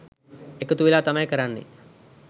එකතු වෙලා තමයි කරන්නේ.